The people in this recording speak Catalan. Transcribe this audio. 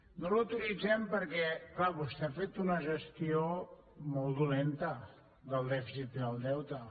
no l’autoritzem perquè clar vostè ha fet una gestió molt dolenta del dèficit i del deute